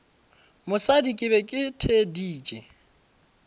mosadi ke be ke theeditše